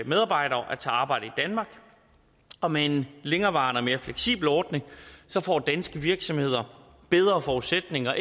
medarbejdere at tage arbejde i danmark og med en længerevarende og mere fleksibel ordning får danske virksomheder bedre forudsætninger